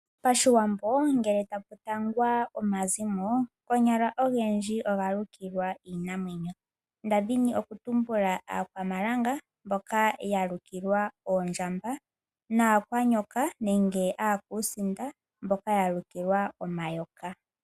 Pashiwambo ngele taku tangwa omazimo, ogendji oga lukilwa iinamwenyo. Opu na Aakwamalanga mboka yalukilwa oondjamba naa kwaanyoka nenge aakusinda mboka ya lukilwa omayoka.